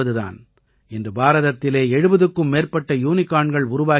இன்று பாரதத்திலே 70க்கும் மேற்பட்ட யூனிகார்ன்கள் உருவாகி விட்டன